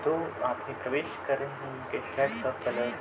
जो प्रवेश के रहे हैं उनके हैट का कलर --